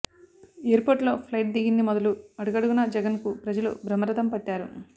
ఎయిర్పోర్టులో flight దిగింది మొదలు అడుగడుగునా జగన్కు ప్రజలు బ్రహ్మరథం పట్టారు